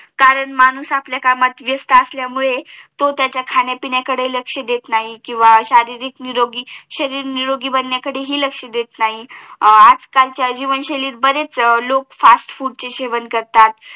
कारण माणूस आपली कामात व्यस्त असल्यामुळे तो त्याच्या खाण्या पिण्या कडे लक्ष देत नाही किंवा शरीर निरोगी बनण्या कडे हि लक्ष अडत नाही आज कालच्या जीवन शैलीत बरेच लोक फास्ट फूड चे सेवन करतात